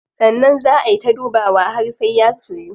Sannan zaa ay ta dubawa har sai ya soyu.